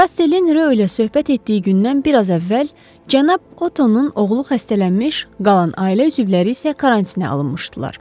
Kastelin Rö ilə söhbət etdiyi gündən biraz əvvəl cənab Ottonun oğlu xəstələnmiş, qalan ailə üzvləri isə karantinə alınmışdılar.